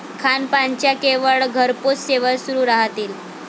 खानपानाच्या केवळ घरपोच सेवा सुरू राहतील.